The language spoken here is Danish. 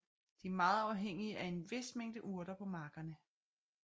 De er meget afhængige af en vis mængde urter på markerne